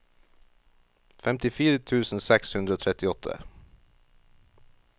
femtifire tusen seks hundre og trettiåtte